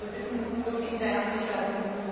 Also wir bitten wirklich sehr herzlich darum.